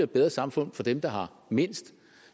bedre samfund for dem der har mindst